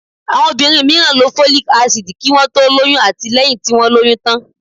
Àwọn obìnrin mìíràn lo folic acid kí wọ́n tó lóyún àti lẹ́yìn tí wọ́n lóyún tán.